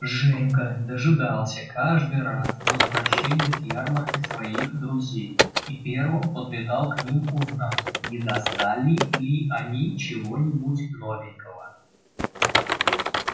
женька дожидался каждый раз возвращения с ярмарки своих друзей и первым подлетал к ним узнать не достали ли они чего-нибудь новенького